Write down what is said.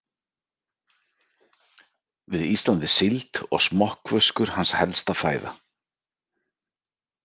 Við Ísland er síld og smokkfiskur hans helsta fæða.